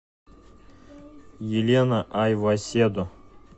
елена айваседо